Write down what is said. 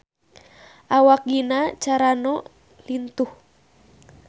Awak Gina Carano lintuh